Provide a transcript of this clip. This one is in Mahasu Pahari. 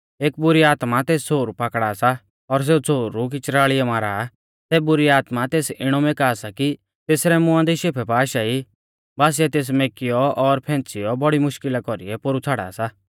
एक बुरी आत्मा तेस छ़ोहरु पाकड़ा सा और सेऊ छ़ोहरु किचराल़ी मारा आ सै बुरी आत्मा तेस इणौ मेका सा कि तेसरै मुंआ दी शेफै पा आशा ई बासिऐ तेस मेकीयौ और फैंच़ीयौ बौड़ी मुश्कल़ा कौरीऐ पोरु छ़ाड़ा सा